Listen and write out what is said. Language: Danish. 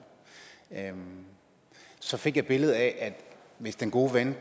så fik jeg et billede af at hvis den gode ven